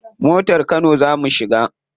Motar kano za mu shiga.